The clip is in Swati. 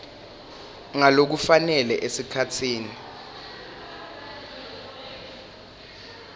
ngalokufanele esikhatsini